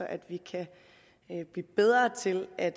at vi kan blive bedre til at